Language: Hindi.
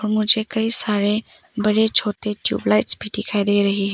मुझे कई सारे बड़े छोटे ट्यूबलाइट्स भी दिखाई दे रही है।